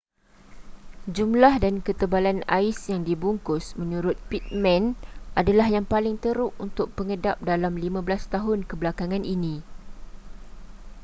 jumlah dan ketebalan ais yang dibungkus menurut pittman adalah yang paling teruk untuk pengedap dalam 15 tahun kebelakangan ini